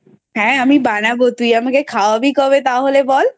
হ্যাঁ আমি বানাবো তুই আমাকে খাওয়াবি কবে তাহলে বল।